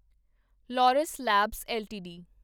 Laurus Labs LTD